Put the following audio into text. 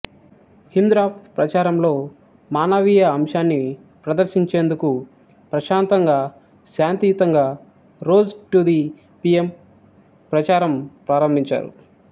Hindraf ప్రచారంలో మానవీయ అంశాన్ని ప్రదర్శించేందుకు ప్రశాంతంగా శాంతియుతంగా రోజ్ టు ది పీఎం ప్రచారం ప్రారంభించారు